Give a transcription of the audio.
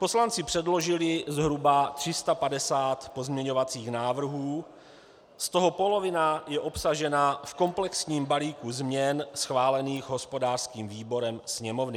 Poslanci předložili zhruba 350 pozměňovacích návrhů, z toho polovina je obsažena v komplexním balíku změn schválených hospodářským výborem Sněmovny.